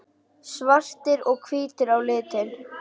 Svartir og hvítir á litinn.